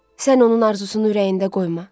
Sən onun arzusunu ürəyində qoyma.